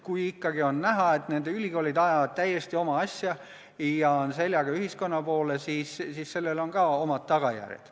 Kui ikkagi on näha, et ülikoolid ajavad täiesti oma asja ja on seljaga ühiskonna poole, siis on sellel ka oma tagajärjed.